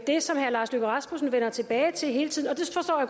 det som herre lars løkke rasmussen vender tilbage til hele tiden og